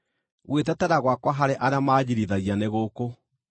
Gwĩtetera gwakwa harĩ arĩa manjiirithagia nĩ gũkũ: